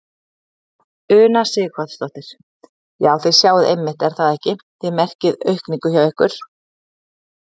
Una Sighvatsdóttir: Já, þið sjáið einmitt er það ekki, þið merkið aukningu hjá ykkur?